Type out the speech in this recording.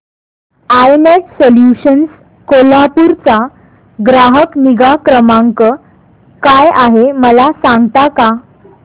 I net solutions Kolhapur चा ग्राहक निगा क्रमांक काय आहे मला सांगता का